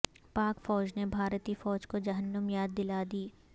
پاک فوج نے بھارتی فوج کو جہنم یاد دلا دی